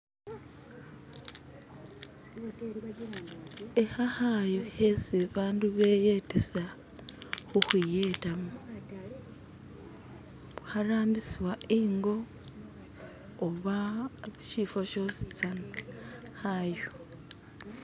ikha khayu khesi bandu beyetesa khukhwiyetamo kharambisibwa ingo oba shifa shositsana khayu.